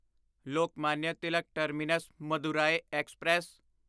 Lokmanya Tilak terminus Madurai express